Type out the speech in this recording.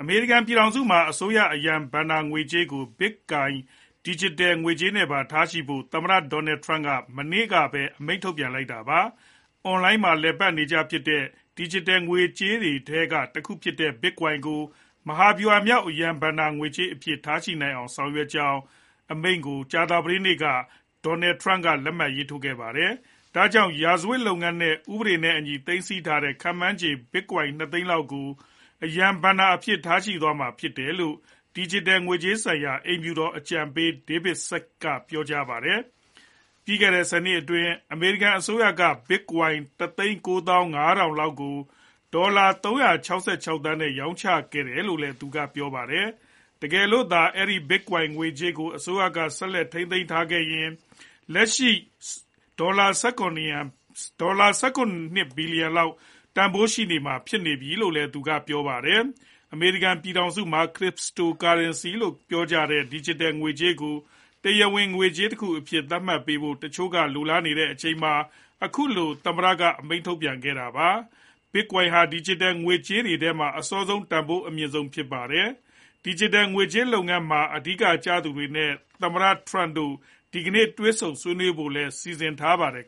အမေရိကန်ပြည်ထောင်စုမှာ အစိုးရအရန်ဘဏ္ဍာငွေကြေးကို Bitcoin ဒီဂျစ်တယ်ငွေကြေးနဲ့ပါထားဖို့ သမ္မတ Donald Trump က အမိန့်ထုတ်လိုက်ပါတယ်။ အွန်လိုင်းမှာ လည်ပတ်သုံးစွဲနေကြတဲ့ ဒီဂျစ်တယ်ငွေကြေးတွေထဲကတခုဖြစ်တဲ့ Bitcoin ကို မဟာ ဗျူဟာမြောက် အရန်ဘဏ္ဍာအဖြစ် ထားနိုင်အောင်ဆောင်ရွက်ကြောင်းအမိန့်ကို ကြာသပတေးနေ့ က သမ္မတ Trump လက်မှတ်ထိုးခဲ့ပါ တယ်။ ဒါကြောင့် ရာဇဝတ်လုပ်ငန်းတွေနဲ့ ဥပဒေနဲ့အညီ သိမ်းဆည်း ထားတဲ့ ခန့်မှန်းခြေ Bitcoin နှစ်သိန်း လောက်ကို အရန်ဘဏ္ဍာအနေနဲ့ ထားရှိသွားမှာ ြဖစ်တယ်လို့ ဒီဂျစ်တယ်ငွေကြေးဆိုင်ရာ အိမ်ဖြူတော်အကြံပေး David Sacks က ပြောခဲ့ပါတယ်။ လွန်ခဲ့တဲ့ နှစ်အတွင်း အမေရိကန်အစိုးရက Bitcoin လောက်ကို ဒေါ်လာ သန်းနဲ့ ရောင်းချခဲ့တယ်လို့လည်း သူကပြောပါတယ်။ တကယ်လို့သာ အဲဒီ Bitcoin ငွေကြေးတွေကို အစိုးရကဆက်သိမ်းထားခဲ့ရင် အခုလက်ရှိ ဒေါ်လာ ဘီလျံလောက် တန်ဖိုးရှိနေမှာဖြစ်တယ် လို့လည်း ဆိုပါတယ်။ အမေရိကန်ပြည်ထောင်စုမှာ Crypto currency လို့ပြောကြတဲ့ ဒီဂျစ်တယ် ငွေကြေးကို တရားဝင်ငွေကြေးတခုအဖြစ်နဲ့ သတ်မှတ်ပေးဖို့ တချို့ကလိုလားနေချိန်မှာ အခုလို သမ္မတက အမိန့်ထုတ်ခဲ့တာဖြစ်ပါတယ်။ Bitcoin ဟာ ဒီဂျစ်တယ်ငွေကြေးတွေထဲမှာ အစောဆုံးနဲ့ တန်ဖိုးအမြင့်ဆုံးဖြစ်ပါတယ်။ ဒီဂျစ်တယ် ငွေကြေးလုပ်ငန်းတွေမှာ အဓိကကျသူတွေနဲ့ သမ္မတ Trump ဒီနေ့ တွေ့ဆုံဆွေးနွေးဖို့လည်း စီစဉ် ထားပါတယ်